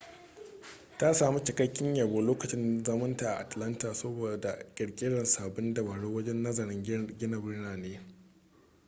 ta sami cikakken yabo lokacin zaman ta a atalanta saboda kirkirar sabbin dabaru wajen nazarin gina birane